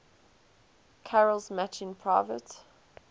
carol's matching private